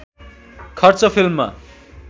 खर्च फिल्ममा